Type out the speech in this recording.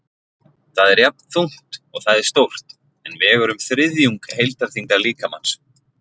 Það er jafnþungt og það er stórt, en vegur um þriðjung heildarþyngdar líkamans.